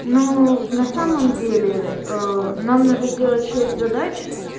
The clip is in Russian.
ну на самом деле нам надо сделать шесть задач